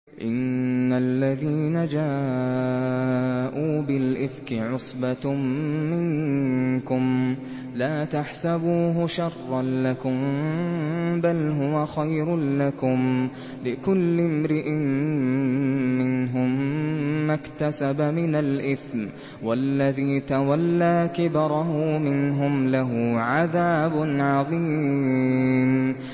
إِنَّ الَّذِينَ جَاءُوا بِالْإِفْكِ عُصْبَةٌ مِّنكُمْ ۚ لَا تَحْسَبُوهُ شَرًّا لَّكُم ۖ بَلْ هُوَ خَيْرٌ لَّكُمْ ۚ لِكُلِّ امْرِئٍ مِّنْهُم مَّا اكْتَسَبَ مِنَ الْإِثْمِ ۚ وَالَّذِي تَوَلَّىٰ كِبْرَهُ مِنْهُمْ لَهُ عَذَابٌ عَظِيمٌ